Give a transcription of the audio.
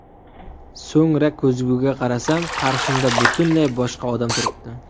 So‘ngra ko‘zguga qarasam, qarshimda butunlay boshqa odam turibdi.